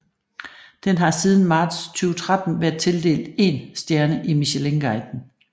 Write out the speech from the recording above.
Den har siden marts 2013 været tildelt én stjerne i Michelinguiden